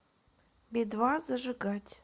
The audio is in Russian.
би два зажигать